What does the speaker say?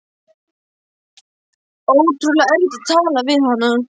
Ótrúlega erfitt að tala við hana.